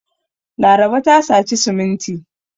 Laraba ta saci siminti.